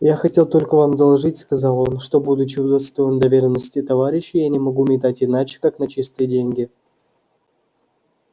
я хотел только вам доложить сказал он что будучи удостоен доверенности товарищей я не могу метать иначе как на чистые деньги